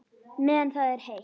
Meðan það er heitt.